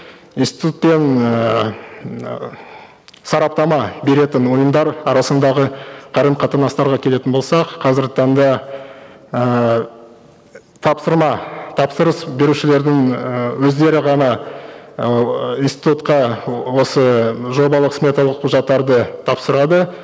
институт пен ыыы м ыыы сараптама беретін ұйымдар арасындағы қарым қатынастарға келетін болсақ қазіргі таңда ыыы тапсырма тапсырыс берушілердің ыыы өздері ғана ыыы институтқа осы жобалық сметалық құжаттарды тапсырады